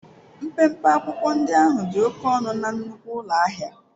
Mpempe akwụkwọ ndị ahụ dị oke ọnụ na nnukwu ụlọ ahịa.